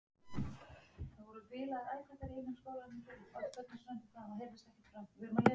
Þau kitlaði í magann og þau öskruðu með hinum.